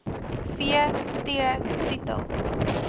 v t titel